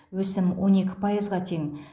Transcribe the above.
өсім он екі пайызға тең